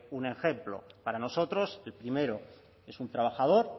un ejemplo para nosotros el primero es un trabajador